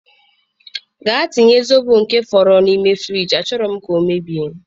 Gaa tinye Zobo nke fọdụrụ n'ime friji, achọghị m ka ọ mebie.